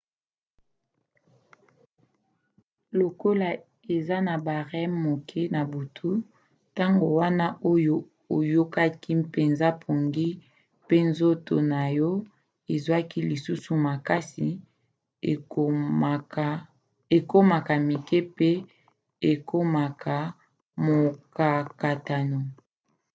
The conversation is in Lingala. lokola eza na ba rem moke na butu ntango wana oyo oyokaki mpenza pongi pe nzoto na yo ezwaka lisusu makasi ekomaka mike pe ekomaka mokakatano